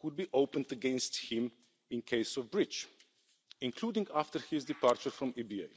could be opened against him in case of breach, including after his departure from the EBA.